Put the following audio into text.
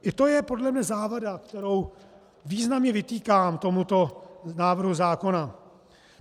I to je podle mě závada, kterou významně vytýkám tomuto návrhu zákona.